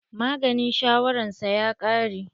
Maganin shawaran sa ya ƙare.